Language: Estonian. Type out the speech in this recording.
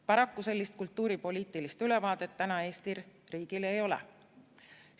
Paraku sellist kultuuripoliitilist ülevaadet täna Eesti riigil ei ole.